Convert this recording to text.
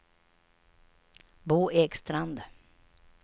Bo Ekstrand